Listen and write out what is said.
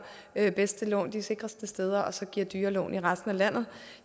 allerbedste lån de sikreste steder og så giver dyre lån i resten af landet